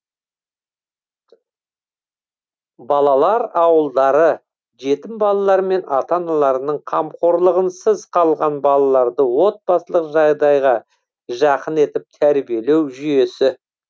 балалар ауылдары жетім балалар мен ата аналарының қамқорлығынсыз калған балаларды отбасылық жағдайға жақын етіп тәрбиелеу жүйесі